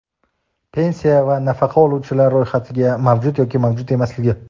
pensiya va nafaqa oluvchilar ro‘yxatida mavjud yoki mavjud emasligi;.